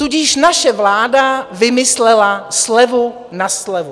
Tudíž naše vláda vymyslela slevu na slevu.